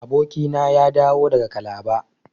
Abokina ya dawo daga calabar.